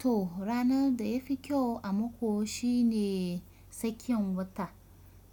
To ranar da ya fi kyau a mako shine tsakiyan wata,